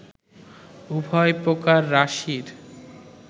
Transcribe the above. উভয় প্রকার রাশির